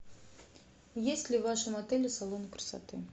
есть ли в вашем отеле салон красоты